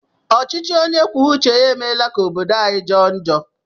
Ọchịchị onye kwuo uche ya emeela ka obodo anyi jọọ njọ.